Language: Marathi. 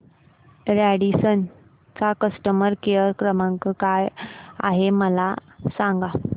रॅडिसन चा कस्टमर केअर क्रमांक काय आहे मला सांगा